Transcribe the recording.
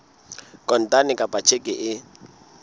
kontane kapa ka tjheke e